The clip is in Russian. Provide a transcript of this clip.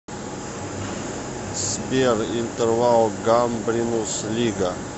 сбер интервал гамбринус лига